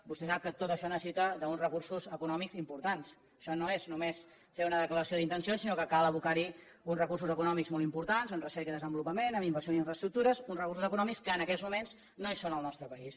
vostè sap que tot això necessita uns recursos econòmics importants això no és només fer una declaració d’intencions sinó que cal abocar hi uns recursos econòmics molt importants en recerca i desenvolupament en inversió en infraestructures uns recursos econòmics que en aquests moments no hi són al nostre país